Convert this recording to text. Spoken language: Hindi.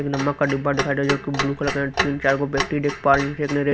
एक नमक का डिब्बा दिखाई दे रहा जोकि ब्लू कलर का है तीन चार वो व्यक्ति देख पा रहे हैं जिसने एक--